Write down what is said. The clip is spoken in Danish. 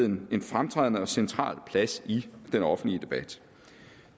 en fremtrædende og central plads i den offentlige debat